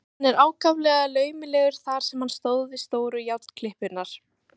Hann var ákaflega laumulegur þar sem hann stóð við stóru járnklippurnar.